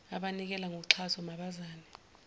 abanikela ngoxhaso mabazame